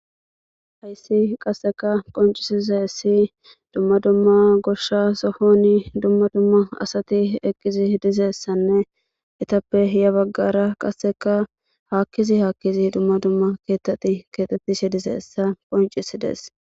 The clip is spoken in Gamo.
hayssi qasseka qoncisize ssi dumma dumma goshsha sohoni dumma dumma asati eqqizi dizeessanne etappe hiya baggara qasseka haakkizi haakkizi dumma dumma keeteti keexettishe dizeessa qoncisi dees